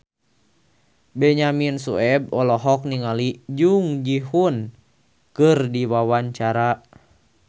Benyamin Sueb olohok ningali Jung Ji Hoon keur diwawancara